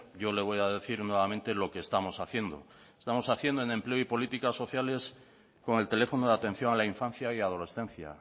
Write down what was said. yo le voy a decir nuevamente lo que estamos haciendo estamos haciendo en empleo y políticas sociales con el teléfono de atención a la infancia y adolescencia